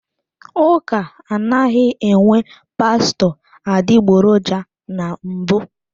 Ụka anaghị enwe pastọ adịgboroja na mbụ.